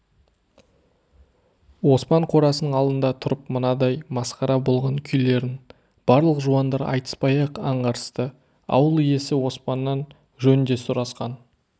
оспан қорасының алдында тұрып мынадай масқара болған күйлерін барлық жуандар айтыспай-ақ аңғарысты ауыл иесі оспаннан жөн де сұрасқан